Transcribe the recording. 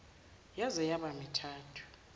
yaze yaba mithathu